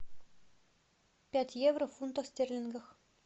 пять евро в фунтах стерлингов